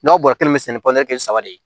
N'aw bɔra kelen mi se kɛ ni kelen saba de ye